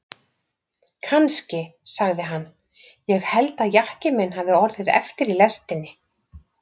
Kannski, sagði hann, ég held að jakkinn minn hafi orðið eftir í lestinni.